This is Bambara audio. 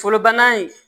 Fɔlɔ banna in